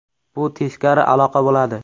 Bu teskari aloqa bo‘ladi.